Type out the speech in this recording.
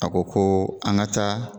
A ko ko an ka taa